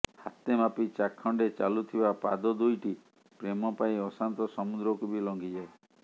ହାତେ ମାପି ଚାଖେଣ୍ଡେ ଚାଲୁଥିବା ପାଦ ଦୁଇଟି ପ୍ରେମ ପାଇଁ ଅଶାନ୍ତ ସମୁଦ୍ରକୁ ବି ଲଂଘିଯାଏ